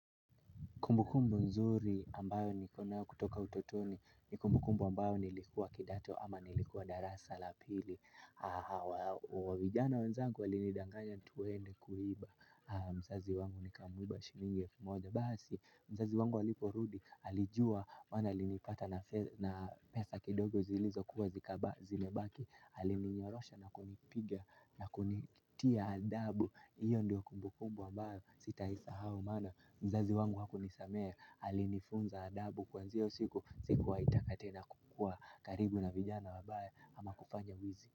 Kumbu kumbu nzuri ambayo nilikuwa na kutoka utotoni ni kumbu kumbu ambayo nilikuwa kidato ama nilikuwa darasa la pili. Wavijana wenzangu walinidanganya tuende kuiba mzazi wangu nikamuiba shilingi elfu moja. Basi mzazi wangu aliporudi alijua maana alinipata na pesa kidogo zilizo kuwa zikaba zimebaki. Alininyorosha na kunipiga na kunitia adabu. Iyo ndio kumbukumbu ambayo sitaisahau maana. Mzazi wangu hakunisamea alinifunza adabu kuanzia hiyo siku sikuwahi taka tena kukuwa karibu na vijana wabaye ama kufanya wizi.